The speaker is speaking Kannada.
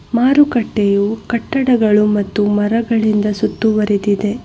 ಮಾರುಕಟ್ಟೆಯು ಕಟ್ಟಡಗಳು ಮತ್ತು ಮರಗಳಿಂದ ಸುತ್ತುವರೆದಿದೆ.